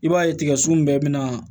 I b'a ye tigɛ sun bɛɛ bɛna